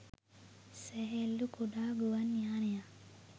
සැහැල්ලු කුඩා ගුවන් යානයක්